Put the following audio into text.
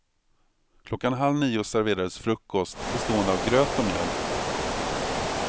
Klockan halv nio serverades frukost bestående av gröt och mjölk.